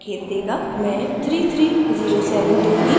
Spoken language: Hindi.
मैं 3307 दूंगी